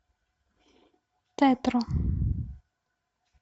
тетро